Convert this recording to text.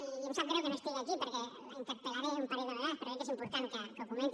i em sap greu que no estigui aquí perquè la interpel·laré un parell de vegades però jo crec que és important que ho comenti